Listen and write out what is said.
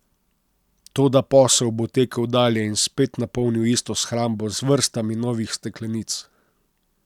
Toda posel bo tekel dalje in spet napolnil isto shrambo z vrstami novih steklenic.